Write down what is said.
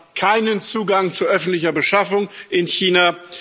Wir haben keinen Zugang zu öffentlicher Beschaffung in China.